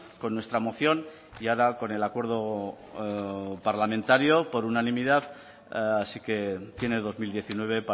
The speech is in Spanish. con nuestra moción y ahora con el acuerdo parlamentario por unanimidad así que tiene dos mil diecinueve